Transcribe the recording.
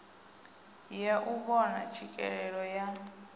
ya u vhona tswikelelo ya